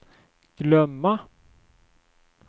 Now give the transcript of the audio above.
glömma